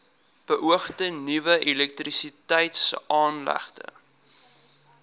beoogde nuwe elektrisiteitsaanlegte